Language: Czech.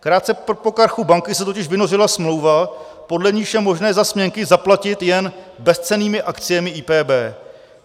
Krátce po krachu banky se totiž vynořila smlouva, podle níž je možné za směnky zaplatit jen bezcennými akciemi IPB.